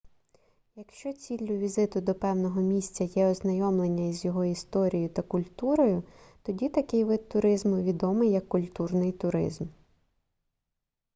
якщо ціллю візиту до певного місця є ознайомлення із його історією та культурою тоді такий вид туризму відомий як культурний туризм